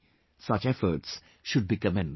Such efforts should be commended